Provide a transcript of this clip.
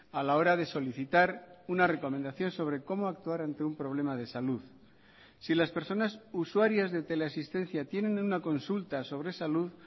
a la hora de solicitar una recomendación sobre cómo actuar ante un problema de salud si las personas usuarias de teleasistencia tienen una consulta sobre salud